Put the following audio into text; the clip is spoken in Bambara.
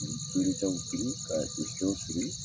fɛnw siri ka gesew siri